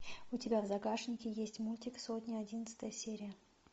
у тебя в загашнике есть мультик сотня одиннадцатая серия